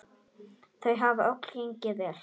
Þau hafa öll gengið vel.